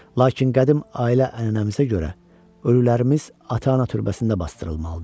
Lakin qədim ailə ənənəmizə görə, ölülərimiz ata-ana türbəsində basdırılmalıdır.